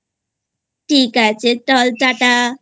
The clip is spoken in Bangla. ঠিক আছে চল Tata